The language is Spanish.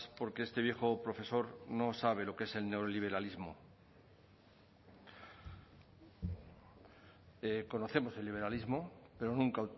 porque este viejo profesor no sabe lo que es el neoliberalismo conocemos el liberalismo pero nunca